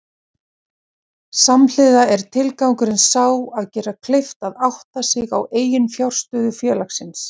Samhliða er tilgangurinn sá að gera kleift að átta sig á eiginfjárstöðu félagsins.